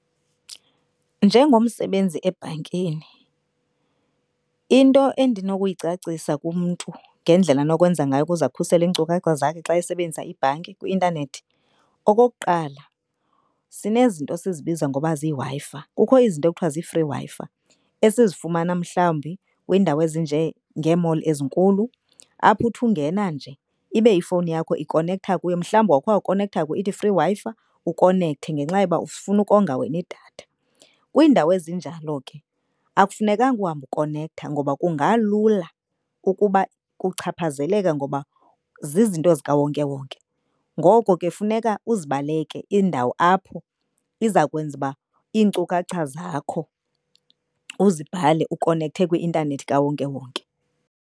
Njengomsebenzi ebhankini into endinokuyicacisa kumntu ngendlela anokwenza ngayo ukuze akhusele iinkcukacha zakhe xa esebenzisa ibhanki kwi-intanethi. Okokuqala, sinezinto esizibiza ngoba ziWi-Fi, kukho izinto ekuthiwa zi-free Wi-Fi esizifumana mhlawumbi kwiindawo ezinjengee-mall ezinkulu apho uthi ungena nje ibe ifowuni yakho ikonektha kuyo. Mhlawumbi wawukhe wakonektha kuyo, ithi free Wi-Fi ukonekthe ngenxa yoba ufuna ukonga wena idatha. Kwiindawo ezinjalo ke akufunekanga uhambe ukonektha ngoba kungalula ukuba kuchaphazeleke ngoba zizinto zikawonkewonke. Ngoko ke funeka uzibaleke iindawo apho iza kwenza uba iinkcukacha zakho uzibhale ukonekthe kwi-intanethi kawonkewonke.